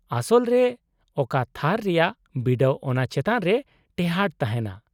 -ᱟᱥᱚᱞ ᱨᱮ ᱚᱠᱟ ᱛᱷᱟᱨ ᱨᱮᱭᱟᱜ ᱵᱤᱰᱟᱹᱣ ᱚᱱᱟ ᱪᱮᱛᱟᱱ ᱨᱮ ᱴᱮᱦᱟᱴ ᱛᱟᱦᱮᱱᱟ ᱾